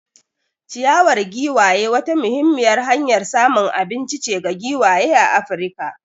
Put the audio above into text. Ciyawar giwaye wata muhimmiyar hanyar samun abinci ce ga giwaye a Afirka.